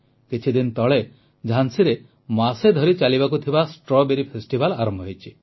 କିଛିଦିନ ତଳେ ଝାନ୍ସୀରେ ମାସେ ଧରି ଚାଲିବାକୁ ଥିବା ଷ୍ଟ୍ରବେରୀ ଫେଷ୍ଟିଭାଲ୍ ଆରମ୍ଭ ହୋଇଛି